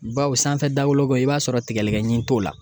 Bawo sanfɛ dawoloko i b'a sɔrɔ tigɛlikɛɲin t'o la